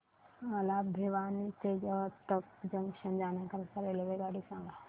मला भिवानी ते रोहतक जंक्शन जाण्या करीता रेल्वे सांगा